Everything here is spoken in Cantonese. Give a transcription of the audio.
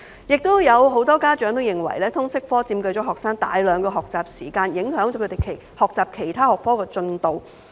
也有很多家長認為，通識科佔據學生大量學習時間，影響他們學習其他學科的進度。